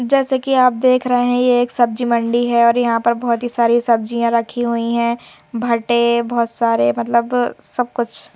जैसे कि आप देख रहे हैं ये एक सब्जी मंडी है और यहां पर बहुत ही सारी सब्जियां रखी हुई हैं भट्टे बहुत सारे मतलब सब कुछ।